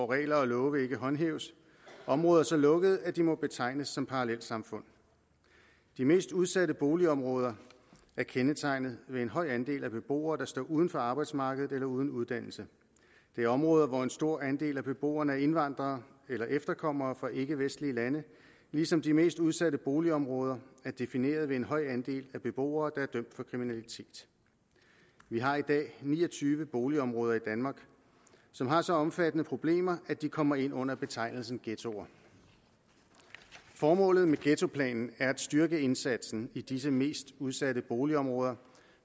regler og love ikke håndhæves områder så lukkede at de må betegnes som parallelsamfund de mest udsatte boligområder er kendetegnet ved en høj andel af beboere der står uden for arbejdsmarkedet eller uden uddannelse det er områder hvor en stor andel af beboerne er indvandrere eller efterkommere af indvandrere fra ikkevestlige lande ligesom de mest udsatte boligområder er defineret ved en høj andel af beboere der er dømt for kriminalitet vi har i dag ni og tyve boligområder i danmark som har så omfattende problemer at de kommer ind under betegnelsen ghettoer formålet med ghettoplanen er at styrke indsatsen i disse mest udsatte boligområder